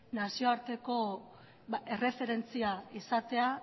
nazioarteko erreferentzia